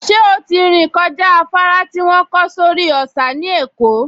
Ṣé ó ti rìn kọjá afárá tí wọ́n kọ́ sórí òsà ní Èkó?